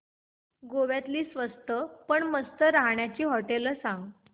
गोव्यातली स्वस्त पण मस्त राहण्याची होटेलं सांग